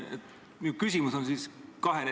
Minu küsimus on kahene.